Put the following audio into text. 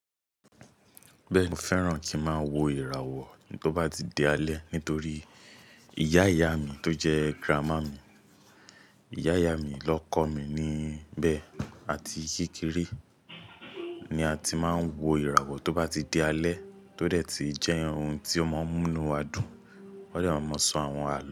Bẹ́ẹ̀ni, mo fẹ́ràn kí ń má wo ìràwọ̀ tó bá ti di alẹ́ nítorí ìyá ìyá mi tó jẹ́ grànmà mi, ìyá ìyá mi ló kọ́ mi níbẹ̀ àti kekere ni a ti máa ń wo ìràwọ̀ tó bá ti di alẹ́ tó dẹ̀ ti jẹ́ ohun tí ó máa ń múnu wa dùn. Wọ́n dẹ̀ máa mọ sọ àwọn àlọ́